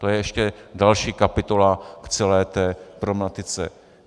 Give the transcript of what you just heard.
To je ještě další kapitola v celé té problematice.